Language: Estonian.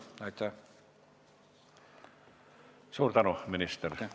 Suur tänu, minister!